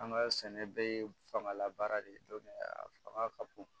An ka sɛnɛ bɛɛ ye fangalabaara de ye a fanga ka bon